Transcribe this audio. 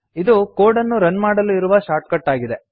ಇದು ಕೋಡ್ ಅನ್ನು ರನ್ ಮಾಡಲು ಇರುವ ಶಾರ್ಟ್ಕಟ್ ಆಗಿದೆ